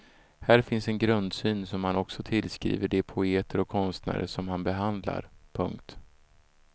Här finns en grundsyn som han också tillskriver de poeter och konstnärer som han behandlar. punkt